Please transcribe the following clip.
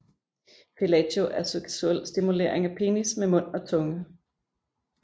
Fellatio er seksuel stimulering af penis med mund og tunge